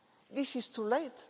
This is too late.